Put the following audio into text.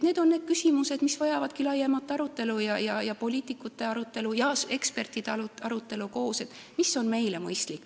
Need on need küsimused, mis vajavadki laiemat arutelu, poliitikute ja ekspertide arutelu, et teha kindlaks, mis on meile mõistlik.